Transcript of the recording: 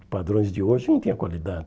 Os padrões de hoje não tinham qualidade.